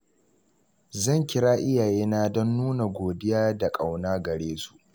Zan kira iyayena don nuna godiya da ƙauna gare su.